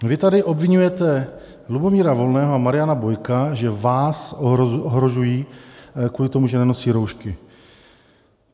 Vy tady obviňujete Lubomíra Volného a Mariana Bojka, že vás ohrožují kvůli tomu, že nenosí roušky.